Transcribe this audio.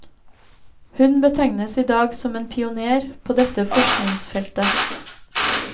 Hun betegnes i dag som en pionér på dette forskningsfeltet.